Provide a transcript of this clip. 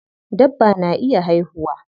Dabba na iya haihuwa.